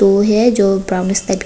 उ है जो ब्राउन स--